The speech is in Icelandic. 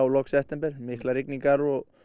lok september miklar rigningar og